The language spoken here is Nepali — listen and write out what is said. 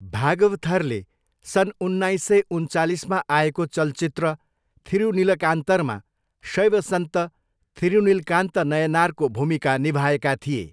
भागवथरले सन् उन्नाइस सय उन्चालिसमा आएको चलचित्र थिरुनिलकान्तरमा शैव सन्त थिरुनिलकान्त नयनारको भूमिका निभाएका थिए।